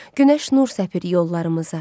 Günəş nur səpir yollarımıza.